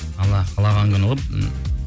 алла қалаған күні ғой ммм